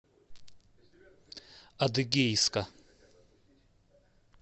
адыгейска